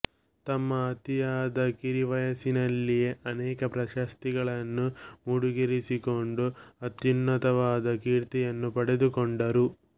ತಮ್ಮ ಅತಿಯಾದ ಕಿರಿ ವಯಸ್ಸಿನಲ್ಲಿಯೇ ಅನೇಕ ಪ್ರಶಸ್ತಿಗಳನ್ನು ಮುಡಿಗೇರಿಸಿಕೊಂಡು ಅತ್ಯನ್ನುತವಾದ ಕೀರ್ತಿಯನ್ನು ಪಡೆದುಕೊಂಡರು